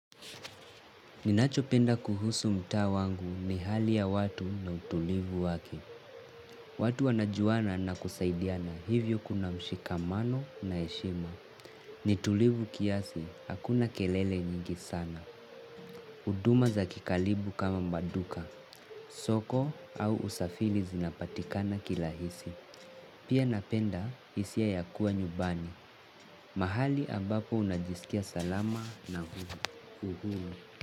Ninachopenda kuhusu mtaa wangu ni hali ya watu na utulivu wake. Watu wanajuana na kusaidiana hivyo kuna mshikamano na eshima. Nitulivu kiasi, hakuna kelele nyingi sana. Uduma za kikalibu kama maduka, soko au usafili zinapatikana kilahisi. Pia napenda hisia ya kuwa nyubani. Mahali ambapo unajisikia salama na huru.